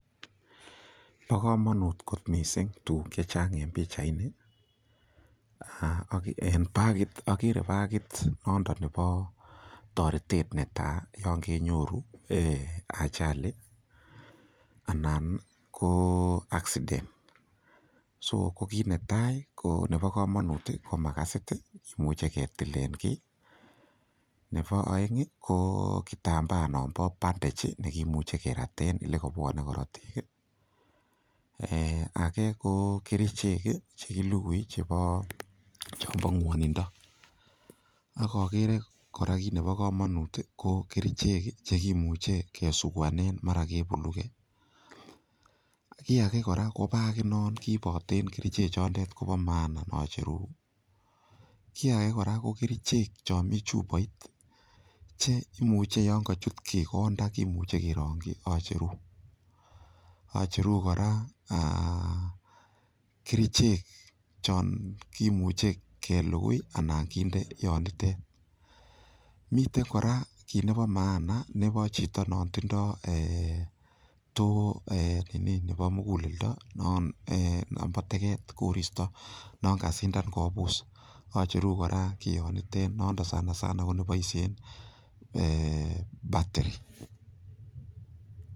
Bo kamanut kot mising tuguk che chang en pichaini. En pagit, agere bagit noto nebo toretet ne tai yon kenyoru achali anan ko accident. Soko kit netai ko nebo kamanut ko makasit kimuche ketilen kiy. Nebo aeng ko kitambaanon bo bandech kimuche keraten elekabwane korotik. Age ko kerichek chekilugui chebo, chombo ngwanindo. Ak agere kora kit nebo kamanut ko kerichek chekimuche kesuguanen mara kebuluge. Kiy age kora ko baginon kiiboten kerichechondet kobo maana nocheru. Kiy age kora ko kerichek chomi chuboit che imuche yon kochut kit konda kimuche kerongyi acheru, acheru kora kerichek chon kimuche kelugui anan kinde yonitet. Miten kora kit nebo maana nebo chito non tindo to ee nini nebo muguleldo ee nombo teget, koristo non kasindan kobus. Acheru kionitet nondon sana sana koneboisie ee batiri.